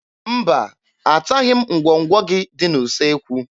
Mba, ataghị m ngwọngwọ gị dị n'usekwu.